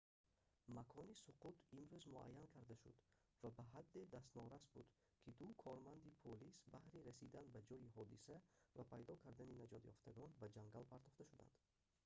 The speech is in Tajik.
макони суқут имрӯз муайян карда шуд ва ба ҳадде дастнорас буд ки ду корманди полис баҳри расидан ба ҷои ҳодиса ва пайдо кардани наҷотёфтагон ба ҷангал партофта шуданд